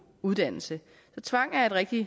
uddannelse tvang er et rigtig